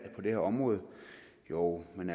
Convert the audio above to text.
på det område jo men